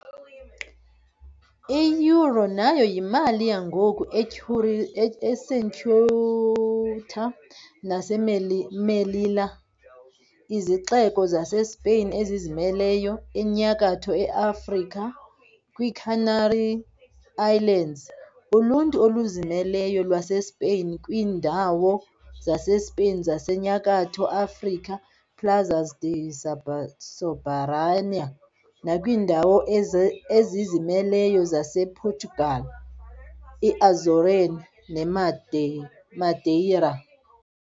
I-euro nayo yimali yangoku eCeuta naseMelilla, izixeko zaseSpain ezizimeleyo eNyakatho Afrika, kwiiCanary Islands, uluntu oluzimeleyo lwaseSpain, kwiindawo zaseSpain zaseNyakatho Afrika, Plazas de soberanía, nakwiindawo ezizimeleyo zasePortugal, iAzores neMadeira.